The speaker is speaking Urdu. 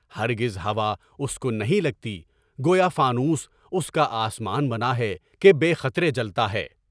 ہرگز ہوا اس کو نہیں لگتی، گویا فانوس اس کا آسان بنایا ہے کہ بے خطرے جلتا ہے۔